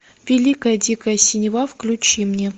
великая дикая синева включи мне